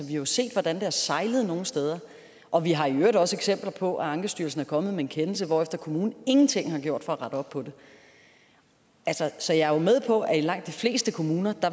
jo set hvordan det har sejlet nogle steder og vi har i øvrigt også eksempler på at ankestyrelsen er kommet med en kendelse hvorefter kommunen ingenting har gjort for at rette op på det så jeg er med på at i langt de fleste kommuner